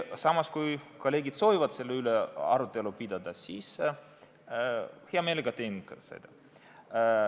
Samas, kui kolleegid soovivad selle üle arutelu pidada, siis hea meelega teen seda ikka.